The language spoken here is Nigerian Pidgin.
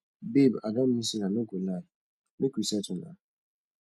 babe i don miss you i no go lie make we settle na